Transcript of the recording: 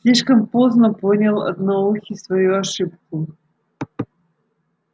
слишком поздно понял одноухий свою ошибку